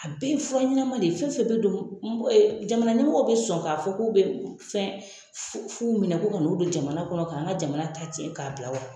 A bɛɛ fura ɲɛnaman de ye fɛn fɛn bɛ don jamana ɲɛmɔgɔw bɛ sɔn k'a fɔ k'u bɛ fɛn fu fuw minɛ ko ka n'u don jamana kɔnɔ k'an ka jamana ta cɛn k'a bila wa.